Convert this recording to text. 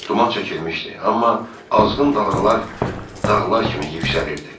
Duman çəkilmişdi, amma azğın dalğalar dağlar kimi yüksəlirdi.